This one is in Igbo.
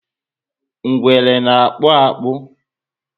Ngwere na- akpu akpu